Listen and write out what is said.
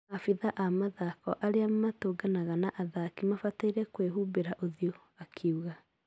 Afitha à mathako arĩa magũtũgana na athaki mabataĩrie gũihumbĩra ũthio," akiuga